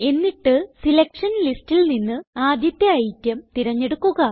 എന്നിട്ട് സെലക്ഷൻ ലിസ്റ്റിൽ നിന്ന് ആദ്യത്തെ ഐറ്റം തിരഞ്ഞെടുക്കുക